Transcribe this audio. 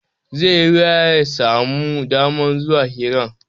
Zai yi wuya ya sami daman zuwa hiran